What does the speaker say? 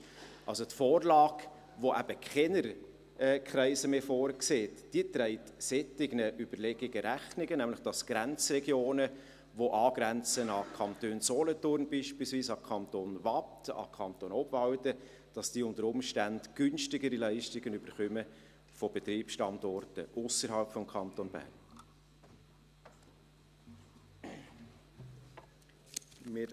Die Vorlage, welche eben keine Kreise mehr vorsieht, trägt solchen Überlegungen Rechnung, nämlich damit, dass Grenzregionen, welche beispielsweise an den Kanton Solothurn, den Kanton Waadt, den Kanton Obwalden angrenzen, unter Umständen günstigere Leistungen von Betriebsstandorten ausserhalb des Kantons Bern erhalten.